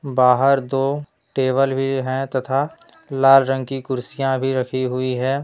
बाहर दो टेबल भी हैं तथा लाल रंग की कुर्सियां भी रखी हुई है।